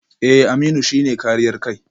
Eh Aminu shi ne kariyar kai